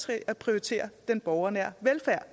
til at prioritere den borgernære velfærd